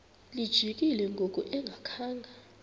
lijikile ngoku engakhanga